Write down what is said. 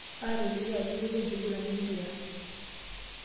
Aatolikio ajo eiterua enkiguran empira.